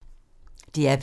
DR P2